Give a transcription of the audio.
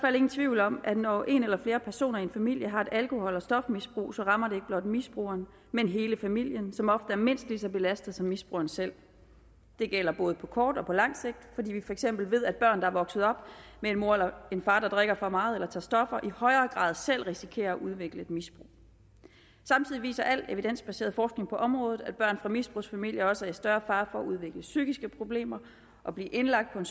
ingen tvivl om at når en eller flere personer i en familie har et alkohol eller stofmisbrug så rammer det ikke blot misbrugeren men hele familien som ofte er mindst lige så belastet som misbrugeren selv det gælder både på kort og på lang sigt fordi vi for eksempel ved at børn der er vokset op med en mor eller en far der drikker for meget eller tager stoffer i højere grad selv risikerer at udvikle et misbrug samtidig viser al evidensbaseret forskning på området at børn fra misbrugsfamilier også er i større fare for at udvikle psykiske problemer og blive indlagt på en